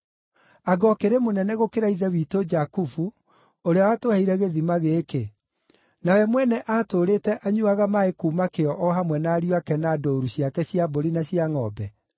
Anga ũkĩrĩ mũnene gũkĩra ithe witũ Jakubu ũrĩa watũheire gĩthima gĩkĩ, na we mwene aatũũrĩte anyuuaga maaĩ kuuma kĩo o hamwe na ariũ ake na ndũũru ciake cia mbũri na cia ngʼombe?”